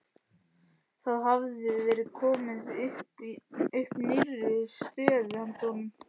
Það hafði verið komið upp nýrri stöðu handa honum.